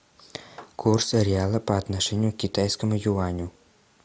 курс реала по отношению к китайскому юаню